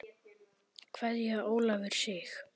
Kveðja Ólafur Sig.